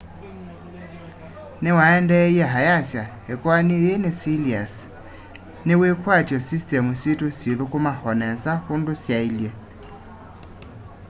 niwaendeeie ayasya ikoani yii ni siliasi ni wikwatyo systemu situ syithukuma o nesa undu syaile